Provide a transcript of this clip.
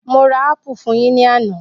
Mo ra ápù fún yín ní àná.